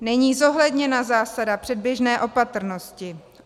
Není zohledněna zásada předběžné opatrnosti.